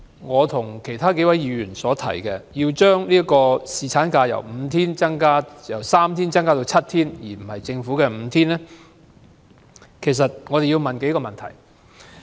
我和其他議員提出將侍產假由3天增至7天，而非政府建議的5天，是因為我們考慮到幾個問題。